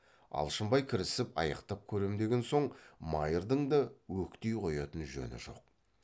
алшынбай кірісіп аяқтап көрем деген соң майырдың да өктей қоятын жөні жоқ